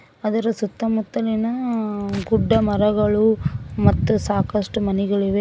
ಅದರ ಸುತ್ತಮುತ್ತಲಿನ ಗುಡ್ಡ ಮರಗಳು ಮತ್ತು ಸಾಕಷ್ಟು ಮನೆಗಳಿವೆ.